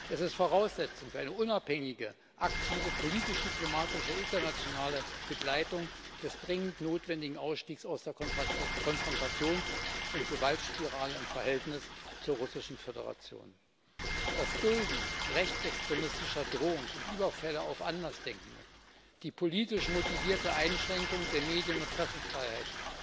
Es ist Voraussetzung für eine unabhängige, aktive politisch diplomatische internationale Begleitung des dringend notwendigen Ausstiegs aus der Konfrontations und Gewaltspirale im Verhältnis zur Russischen Föderation. Das Dulden rechtsextremistischer Drohungen und Überfälle auf Andersdenkende, die politisch motivierte Einschränkung der Medien und Pressefreiheit